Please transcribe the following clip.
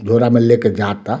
ढोरा में लेके जाता।